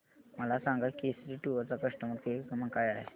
मला सांगा केसरी टूअर्स चा कस्टमर केअर क्रमांक काय आहे